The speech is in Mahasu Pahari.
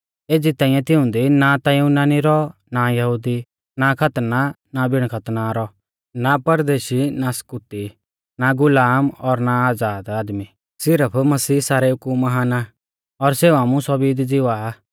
एज़ी ताइंऐ तिऊंदी ना ता युनानी रौऔ ना यहुदी ना खतना ना बिण खतना रौ ना परदेशी ना स्कूती ना गुलाम और ना आज़ाद आदमी सिरफ मसीह सारेऊ कु महान आ और सेऊ आमु सौभी दी ज़िवा आ